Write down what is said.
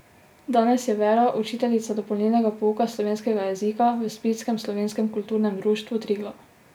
Danes je Vera učiteljica dopolnilnega pouka slovenskega jezika v splitskem Slovenskem kulturnem društvu Triglav.